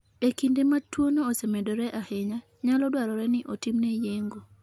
E kinde ma tuwono osemedore ahinya, nyalo dwarore ni otimne yeng'o.